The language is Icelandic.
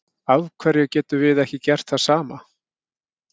Af hverju getum við ekki gert það sama?